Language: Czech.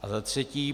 A za třetí.